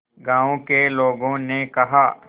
गांव के लोगों ने कहा